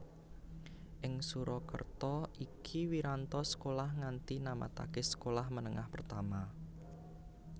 Ing Surakarta iki Wiranto sekolah nganti namataké Sekolah Menengah Pertama